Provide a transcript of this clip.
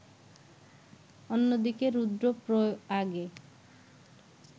অন্য দিকে রুদ্রপ্রয়াগে